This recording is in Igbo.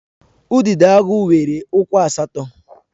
Udidoagu nwere ụkwụ asatọ.